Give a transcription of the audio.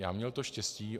Já měl to štěstí.